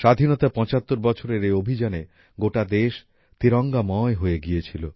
স্বাধীনতার পঁচাত্তর বছরের এই অভিযানে গোটা দেশ তিরঙ্গাময় হয়ে গিয়েছিল